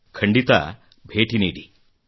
ಖಂಡಿತ ಭೇಟಿ ನೀಡಿ